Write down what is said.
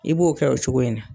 I b'o kɛ o coguya in na.